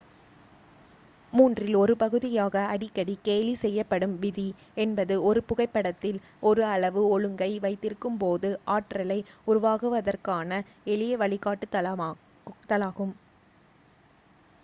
மூன்றில் ஒரு பகுதியாக அடிக்கடி கேலி செய்யப்படும் விதி என்பது ஒரு புகைப்படத்தில் ஒரு அளவு ஒழுங்கை வைத்திருக்கும்போது ஆற்றலை உருவாக்குவதற்கான எளிய வழிகாட்டுதலாகும்